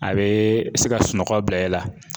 A bee se ka sunɔgɔ bila i la